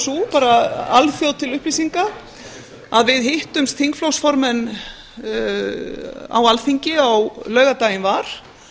sú bara alþjóð til upplýsinga að við þingflokksformenn hittumst á alþingi á laugardaginn var